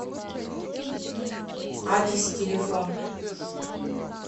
адис телефон